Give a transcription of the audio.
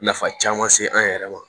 Nafa caman se an yɛrɛ ma